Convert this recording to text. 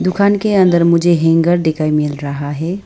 दुकान के अंदर मुझे हैंगर दिखाई मिल रहा है।